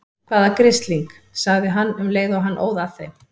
Hvaða grisling. sagði hann um leið og hann óð að þeim.